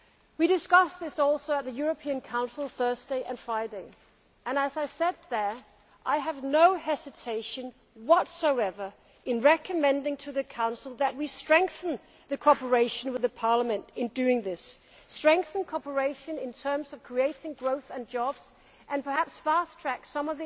We discussed this also at the European Council on Thursday and Friday and, as I said there, I have no hesitation whatsoever in recommending to the Council that we strengthen cooperation with the Parliament in doing this strengthen cooperation in terms of creating growth and jobs and perhaps fast track some